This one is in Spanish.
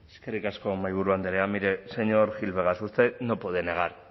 eskerrik asko mahaiburu andrea mire señor gil vegas usted no puede negar